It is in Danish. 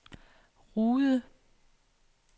Rude